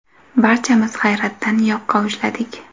Barchamiz hayratdan yoqa ushladik.